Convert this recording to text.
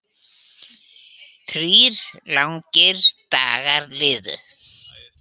Þrír langir dagar liðu.